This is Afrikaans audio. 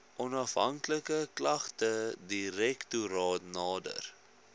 onafhanklike klagtedirektoraat nader